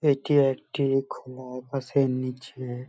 এটি একটি খোয়া আকাশের নিচে --